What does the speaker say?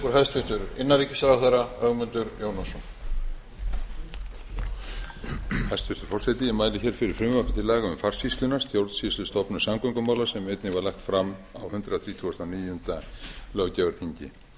hæstvirtur forseti ég mæli hér fyrir frumvarpi til laga um farsýsluna stjórnsýslustofnun samgöngumála sem einnig var lagt fram á hundrað þrítugasta og níunda löggjafarþingi